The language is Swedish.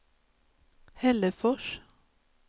Hällefors